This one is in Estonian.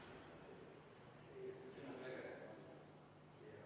Juhtivkomisjoni seisukoht on jätta arvestamata.